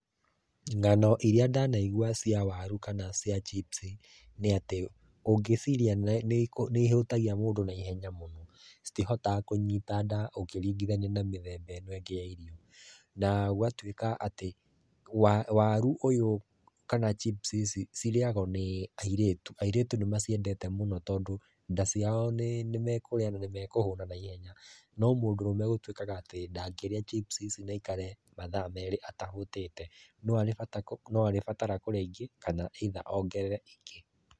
Ng'ano iria ndanaigua cia waru kana cia chips, nĩ atĩ ũngĩcirĩa nĩihũtagia mũndũ naihenya mũno. Citihotaga kũnyita nda ũkĩringithania na mĩthemba ĩno ĩngĩ ya irio. Na gũgatuĩka atĩ, waru ũyũ kana chips ici cirĩyagũo nĩ airĩtu. Airĩtu nĩmaciendete mũno tondũ, nda ciao nĩmekũrĩa na nĩmekũhũna naihenya. No mũndũrũme gũtuĩkaga atĩ ndangĩrĩa chips ici na aikare mathaa merĩ atahũtĩte. No aribatara kũrĩa ingĩ kana either ongerere ingĩ.